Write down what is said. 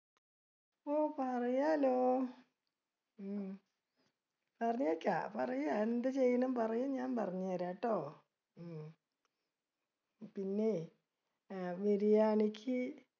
ഓ പറയാലോ. ഉം പറയൂ എന്താ ചെയ്യണേന്ന് പറയൂ ഞാൻ പറഞ്ഞു തരാട്ടോ, ഉം പിന്നെ, അഹ് biryani ക്ക്